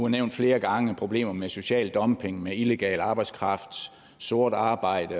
er nævnt flere gange problemer med social dumping med illegal arbejdskraft sort arbejde